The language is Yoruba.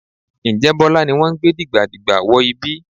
Ǹjẹ́ Bọ́lá ni wọ́n gbé dìgbàdìgbà wọ ibi?